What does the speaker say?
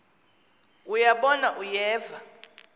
uya bona uyeva